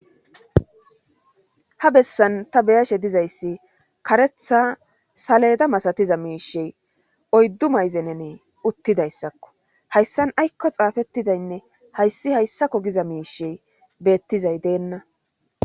Ha bessan ta beyashe dizayssi karetha saleda masatiza miishe oyddu mayzenenee uttidayssakko hayssan aykko xaafettidaynne hayssi hayssakko giza miishey beettizay deenna.